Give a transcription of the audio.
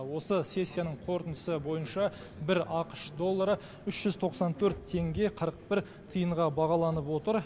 осы сессияның қорытындысы бойынша бір ақш доллары үш жүз тоқсан төрт теңге қырық бір тиынға бағаланып отыр